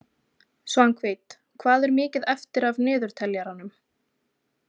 Svanhvít, hvað er mikið eftir af niðurteljaranum?